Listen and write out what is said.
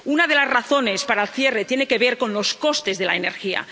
Una de las razones para el cierre tiene que ver con los costes de la energía.